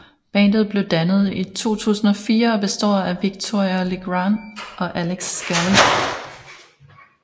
Bandet blev dannet i 2004 og består af Victoria Legrand og Alex Scally